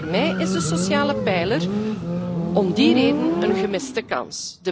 Voor mij is de sociale pijler om die reden een gemiste kans.